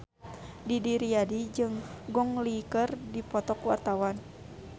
Didi Riyadi jeung Gong Li keur dipoto ku wartawan